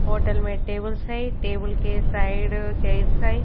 Hotel मैं tables हैं table के साइड चेयर्स हैं।